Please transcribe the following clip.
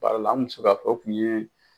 Baara la an kun bɛ se k'a fɔ o kun ye